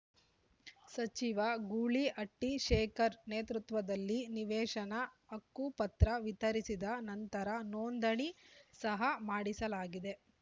ಸಚಿವ ಗೂಳಿಹಟ್ಟಿಶೇಖರ್‌ ನೇತೃತ್ವದಲ್ಲಿ ನಿವೇಶನ ಹಕ್ಕುಪತ್ರ ವಿತರಿಸಿದ ನಂತರ ನೋಂದಣಿ ಸಹ ಮಾಡಿಸಲಾ ಗಿದೆ